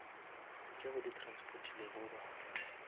tšeo di transportilego batho